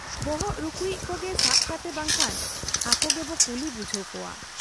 ᱵᱚᱦᱚᱜ ᱨᱩᱠᱩᱭᱤᱡ ᱠᱚᱜᱮ ᱥᱟᱵ ᱠᱟᱛᱮ ᱵᱟᱝᱠᱷᱟᱱ ᱟᱠᱚ ᱜᱮᱵᱚ ᱠᱩᱞᱤ ᱵᱩᱡᱷᱟᱹᱣ ᱠᱚᱣᱟ ᱾